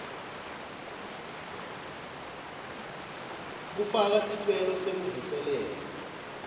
kufaka sicelo sekuvuselela